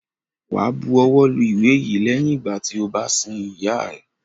Wá bu ọwọ́ lu ìwé yìí lẹ́yìn ìgbà tí o bá sin ìyá rẹ!